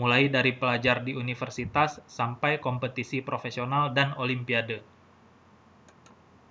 mulai dari pelajar di universitas sampai kompetisi profesional dan olimpiade